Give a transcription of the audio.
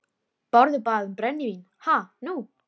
Bárður bað um brennivín, ha, nú!